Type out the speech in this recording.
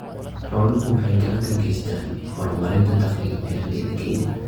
Xooluhu waxay gacan ka geystaan ??horumarinta dakhliga beeralayda Kenya.